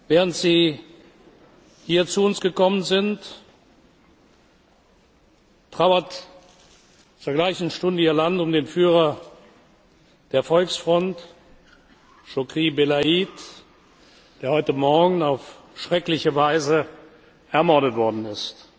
Während Sie hier zu uns gekommen sind, trauert zur gleichen Stunde Ihr Land um den Führer der Volksfront, Chokri Belaïd, der heute Morgen auf schreckliche Weise ermordet worden ist.